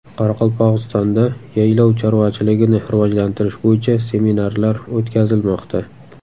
Qoraqalpog‘istonda yaylov chorvachiligini rivojlantirish bo‘yicha seminarlar o‘tkazilmoqda.